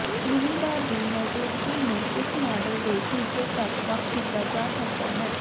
minibar ਦੀ ਮੌਜੂਦਗੀ ਨੂੰ ਇਸ ਮਾਡਲ ਦੇ ਫੀਚਰ ਤੱਕ ਵੱਖ ਕੀਤਾ ਜਾ ਸਕਦਾ ਹੈ